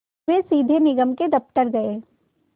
वे सीधे निगम के दफ़्तर गए